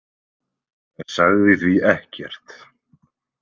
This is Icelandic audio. Sagði því ekkert.